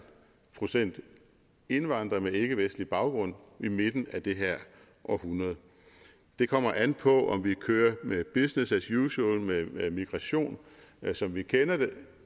procent indvandrere med ikkevestlig baggrund i midten af det her århundrede det kommer an på om vi kører med business as usual med migration som vi kender